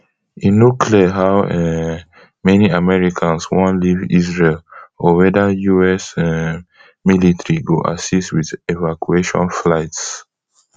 e no clear how um many americans wan leave israel or weda us um military go assist wit evacuation flights